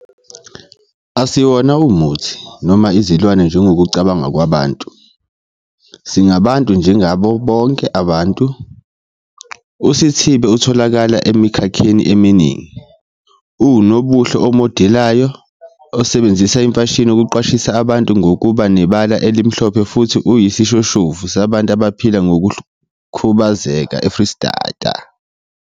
"Asiwona umuthi noma izilwane njengokokucabanga kwabantu. Singabantu njengabo bonke ababantu."USithibe utholakala emikhakheni eminingi. Uwunobuhle omodelayo, osebenzisa imfashini ukuqwashisa abantu ngokuba nebala elimhlophe futhi uyisishoshovu sabantu abaphila nokukhubazeka eFreyistata."